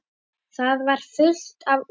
Það var fullt af olíu.